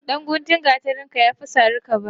Dan guntun gatarinka yafi sari kabani.